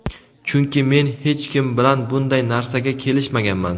Chunki men hech kim bilan bunday narsaga kelishmaganman.